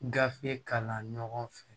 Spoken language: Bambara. Gafe kalan ɲɔgɔn fɛ